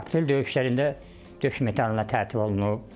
Aprel döyüşlərində döş medalı ilə tərtib olunub.